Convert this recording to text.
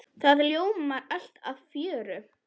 Það ljóma allir af fjöri.